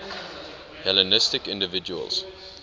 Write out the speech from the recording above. hellenistic individuals